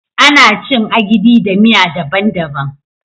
Ana cin " Agidi" da miya dabban -dabban.